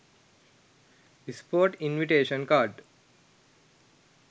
sport invitation card